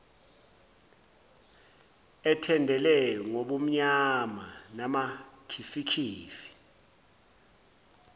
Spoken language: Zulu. ethendele ngobumnyama namakhifikhifi